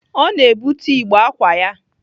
Ọ na-ebute igbe ákwà ya.